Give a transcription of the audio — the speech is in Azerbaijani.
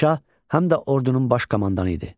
Padşah həm də ordunun baş komandanı idi.